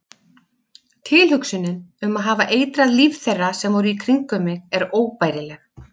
Tilhugsunin um að hafa eitrað líf þeirra sem voru í kringum mig er óbærileg.